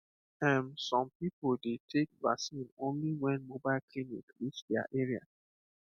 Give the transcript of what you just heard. ehm some people dey take vaccine only when mobile clinic reach their area